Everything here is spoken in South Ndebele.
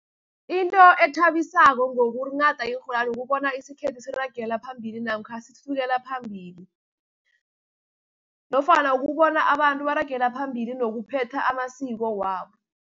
Into ethabisako ngokunghada iinrholwani ukubona isikhethu siragela phambili, namkha sithuthukela phambili, nofana ukubona abantu baragela phambili nokuphetha amasiko wabo.